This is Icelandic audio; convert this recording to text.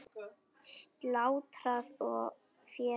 Slátrað og féð vigtað.